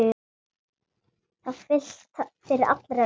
Fyrir allra augum!